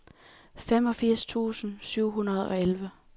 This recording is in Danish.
femogfirs tusind syv hundrede og elleve